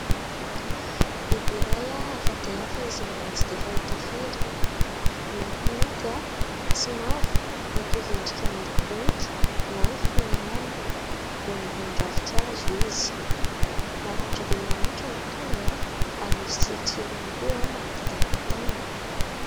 Biby iray hafa dia hafa izay mbola tsy fahita firy, miloko mainty sy mavo mitovy endrika amin'ny bonika na ny foniala, eo ambony ravinkazo izy, maranitra dia maranitra ny tongony, ary misy tsilotsilony koa manodidina ny tanany.